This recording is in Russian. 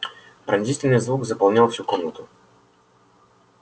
пронзительный звук заполнял всю комнату